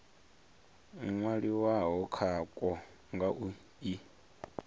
nwaliwaho khakwo nga u i